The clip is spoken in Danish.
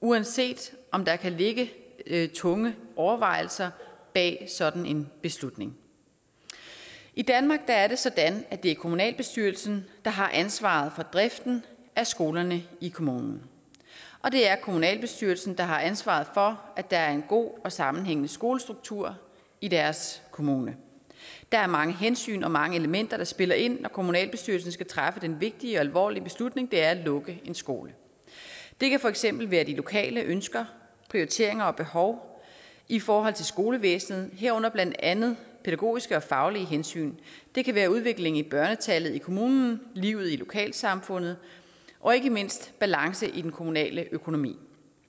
uanset om der kan ligge tunge overvejelser bag sådan en beslutning i danmark er det sådan at det er kommunalbestyrelsen der har ansvaret for driften af skolerne i kommunen og det er kommunalbestyrelsen der har ansvaret for at der er en god og sammenhængende skolestruktur i deres kommune der er mange hensyn og mange elementer der spiller ind når kommunalbestyrelsen skal træffe den vigtige og alvorlige beslutning det er at lukke en skole det kan for eksempel være de lokale ønsker prioriteringer og behov i forhold til skolevæsenet herunder blandt andet pædagogiske og faglige hensyn det kan være udviklingen i børnetallet i kommunen livet i lokalsamfundet og ikke mindst balance i den kommunale økonomi